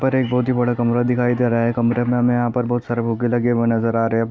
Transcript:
पर एक बहोत ही बड़ा कमरा दिखाई दे रहा है। कमरे में हमे यहाँ पर बहोत बहु ही सारे फूग्गे लगे हुए नजर आ रहे हैं।